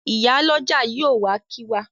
Ìyálọ́jà yóò wá kí wa.